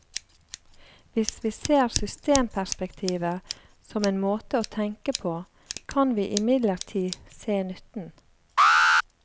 Hvis vi ser systemperspektivet som en måte å tenke på, kan vi imidlertid se nytten.